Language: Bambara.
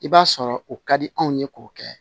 I b'a sɔrɔ o ka di anw ye k'o kɛ